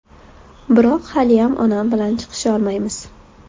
Biroq haliyam onam bilan chiqisholmaymiz.